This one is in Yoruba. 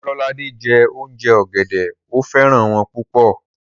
Ololade jẹ́ òùnjẹ ọ̀gẹ̀dẹ̀, ó fẹ́ràn wọ́n púpọ̀